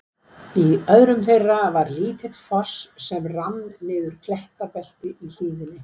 Í öðrum þeirra var lítill foss sem rann niður klettabelti í hlíðinni.